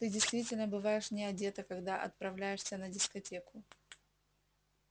ты действительно бываешь не одета когда отправляешься на дискотеку